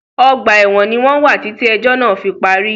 Ọgbà ẹ̀wọ̀n ní wọ́n wà títí ẹ̀jọ́ náà fí parí.